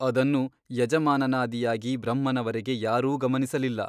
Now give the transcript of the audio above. ಅದನ್ನು ಯಜಮಾನನಾದಿಯಾಗಿ ಬ್ರಹ್ಮನವರೆಗೆ ಯಾರೂ ಗಮನಿಸಲಿಲ್ಲ.